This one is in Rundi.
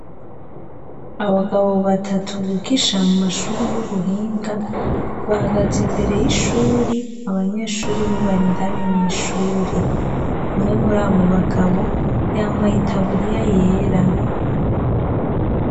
Abagabo batatu bwigisha mu mashuri y'ubuhinga bahagaze imbere y'ishuri abanyeshuri bobarindani mw'ishuri umwe muri abo bagabo yambaye itaburiya yera.